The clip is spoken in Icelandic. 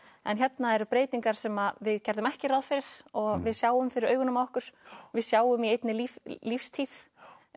en hérna eru breytingar sem við gerðum ekki ráð fyrir og við sjáum fyrir augunum á okkur við sjáum í einni lífstíð